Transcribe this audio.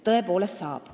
Tõepoolest saab.